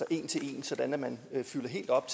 en til en sådan at man fylder helt op